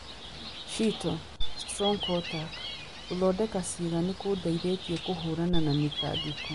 Sheetal 'Strong' Kotak: 'Gũthondeka ciĩga nĩ kũndeithĩtie kũhiũrania na mĩtangĩko'